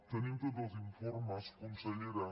tenim tots els informes consellera